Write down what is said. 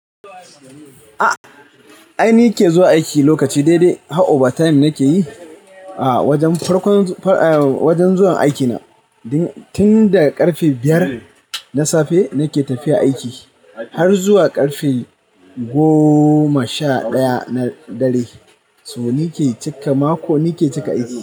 A'a ai ni ke zuwa aiki lokaci daidai, har overtime na ke yi a wajen farkon faem wajen zuwan aiki na. Tun da karfe biyar na safe na ke tafiya aiki har zuwa karfe gooma sha ɗaya na dare. So ni ke cika mako, ni ke cika aiki.